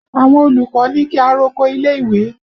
Àwọn olùkọ́ ní kí a roko ilé ìwé